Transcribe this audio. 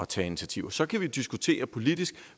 tage initiativer så kan vi diskutere politisk